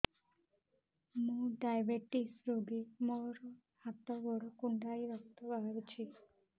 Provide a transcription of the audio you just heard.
ମୁ ଡାଏବେଟିସ ରୋଗୀ ମୋର ହାତ ଗୋଡ଼ କୁଣ୍ଡାଇ ରକ୍ତ ବାହାରୁଚି